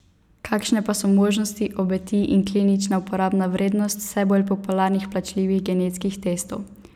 Kakšne pa so možnosti, obeti in klinična uporabna vrednost vse bolj popularnih plačljivih genetskih testov?